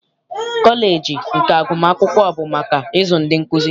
Kọleji nke agụmakwụkwọ bụ maka ịzụ ndị nkuzi.